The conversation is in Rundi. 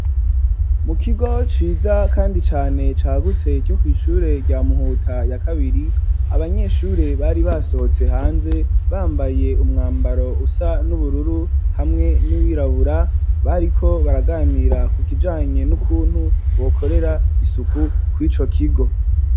Mu kigo, ciza ,kandi cane cagutse co kw'Ishure rya muhuta ya kabiri , Abanyeshure bari basohotse hanze bambaye, umwambaro, usa n'ubururu ,hamwe n'uwirabura ,bariko baraganira ku kijanye n'ukuntu bokorera isuku kwico kigo.